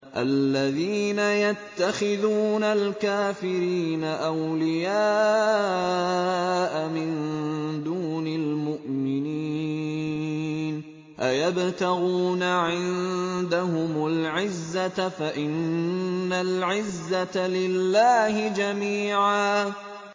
الَّذِينَ يَتَّخِذُونَ الْكَافِرِينَ أَوْلِيَاءَ مِن دُونِ الْمُؤْمِنِينَ ۚ أَيَبْتَغُونَ عِندَهُمُ الْعِزَّةَ فَإِنَّ الْعِزَّةَ لِلَّهِ جَمِيعًا